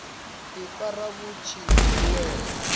ifara vhu tshi khou wela